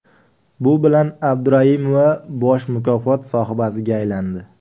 Bu bilan Abduraimova bosh mukofot sohibasiga aylandi.